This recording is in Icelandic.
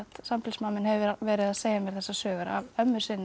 sambýlismaður minn hefur verið að segja mér þessar sögur af ömmu sinni